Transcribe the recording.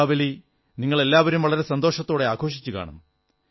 ദീപാവലി നിങ്ങളെല്ലാവരും വളരെ സന്തോഷത്തോടെ ആഘോഷിച്ചുകാണും